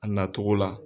A nacogo la